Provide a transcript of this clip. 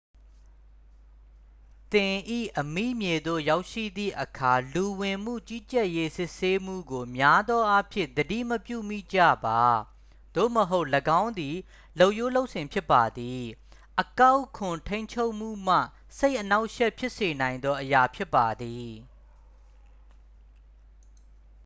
သင်၏အမိမြေသို့ရောက်ရှိသည့်အခါ လူဝင်မှုကြီးကြပ်ရေးစစ်ဆေးမှုကို များသောအားဖြင့် သတိမပြုမိကြပါ သို့မဟုတ် ၎င်းသည် လုပ်ရိုးလုပ်စဉ်ဖြစ်ပါသည် အကောက်ခွန်ထိန်းချုပ်မှုမှာ စိတ်အနှောင့်အယှက်ဖြစ်စေနိုင်သောအရာဖြစ်ပါသည်